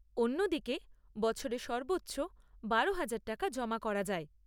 অন্যদিকে, বছরে সর্বোচ্চ বারোহাজার টাকা জমা করা যায়।